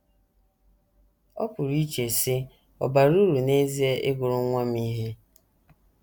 Ị pụrụ iche, sị, ‘ Ọ̀ bara uru n’ezie ịgụrụ nwa m ihe? ’